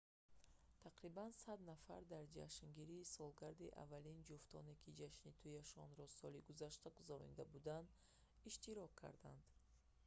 тақрибан 100 нафар дар ҷашнгирии солгарди аввалини ҷуфтоне ки ҷашни туияшонро соли гузашта гузаронида буданд иштирок карданд